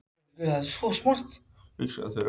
Endurskoðaðar tölur leiða annað í ljós